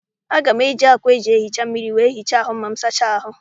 Aga m eji ákwà eji ehicha mmiri wee hichaa ahụ ma m sachaa ahụ.